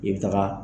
I bɛ taga